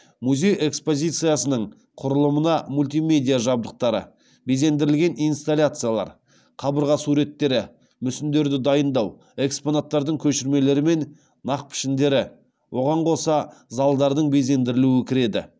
музей экспозициясының құрылымына мультимедиа жабдықтары безендірілген инсталляциялар қабырға суреттері мүсіндерді дайындау экспонаттардың көшірмелері мен нақпішіндері оған қоса залдардың безендірілуі кіреді